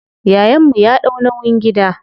Yayan mu ya ɗau nauyin gida.